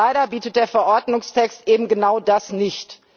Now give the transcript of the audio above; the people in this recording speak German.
Leider bietet der Verordnungstext eben genau das nicht.